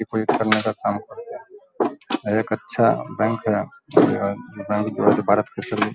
deposit करने का काम है एक अच्छा बैंक है